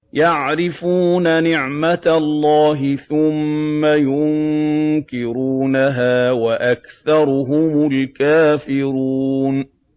يَعْرِفُونَ نِعْمَتَ اللَّهِ ثُمَّ يُنكِرُونَهَا وَأَكْثَرُهُمُ الْكَافِرُونَ